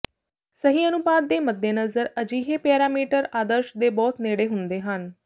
ਸਹੀ ਅਨੁਪਾਤ ਦੇ ਮੱਦੇਨਜ਼ਰ ਅਜਿਹੇ ਪੈਰਾਮੀਟਰ ਆਦਰਸ਼ ਦੇ ਬਹੁਤ ਨੇੜੇ ਹੁੰਦੇ ਹਨ